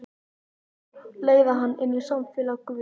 Leiða hana inn í samfélag guðs.